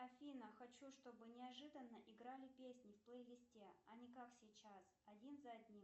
афина хочу чтобы неожиданно играли песни в плейлисте а не как сейчас один за одним